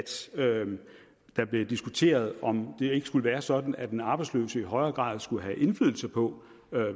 der blev diskuteret om det ikke skulle være sådan at den arbejdsløse i højere grad skulle have indflydelse på